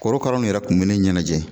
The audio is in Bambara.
Korokara nu yɛrɛ kun be ne ɲɛnajɛ